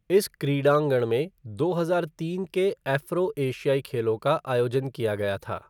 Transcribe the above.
इस क्रीड़ांगण में दो हजार तीन के एफ़्रो एशियाई खेलों का आयोजन किया गया था।